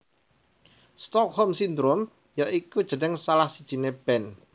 Stockholm Syndrome ya iku jeneng salah sijine band